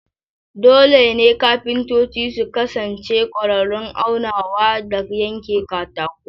Dole ne kafintoci su kasance ƙwararrun aunawa da yanke katako.